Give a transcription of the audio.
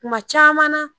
Kuma caman na